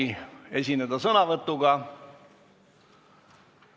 Kas tahetakse esineda sõnavõtuga?